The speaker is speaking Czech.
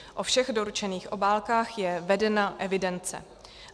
O všech doručených obálkách je vedena evidence.